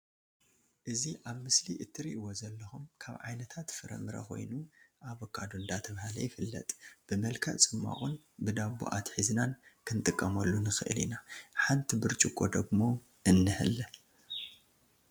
እዚ ኣብ ምስሊ እትሪእዎ ዘለኩም ካብ ዓይነታት ፍረ ምረ ኮይኑ ኣቮካዶ እንዳተብሃለ ይፍለጥ። ብመልክዕ ጽማቁን ብ ዶቦ ኣትሒዝናን ክንጥቀመሉ ንከእል ኢና ሓንቲ ብርጭቅ ደግሞ እንሀለ።